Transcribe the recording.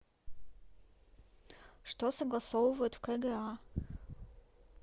что согласовывают в кга